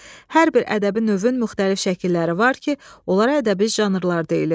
Hər bir ədəbi növün müxtəlif şəkilləri var ki, onlara ədəbi janrlar deyilir.